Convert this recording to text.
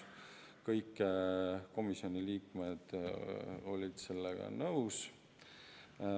Kõik komisjoni liikmed olid sellega nõus.